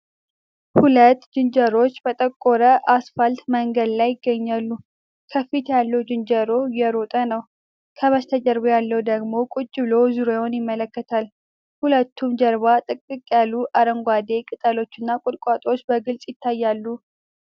ሁለት ዝንጀሮዎች በጠቆረ አስፋልት መንገድ ላይ ይገኛሉ። ከፊት ያለው ዝንጀሮ እየሮጠ ነው፣ ከበስተጀርባው ያለው ደግሞ ቁጭ ብሎ ዙሪያውን ይመለከታል። ከሁለቱም ጀርባ ጥቅጥቅ ያሉ አረንጓዴ ቅጠሎችና ቁጥቋጦዎች በግልጽ ይታያሉ።